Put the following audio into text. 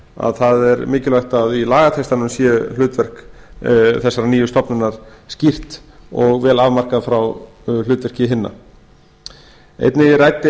að það er mikilvægt að í lagatextanum sé hlutverk þessarar nýju stofnunar skýrt og vel afmarkað frá hlutverki hinna einnig ræddi